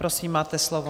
Prosím, máte slovo.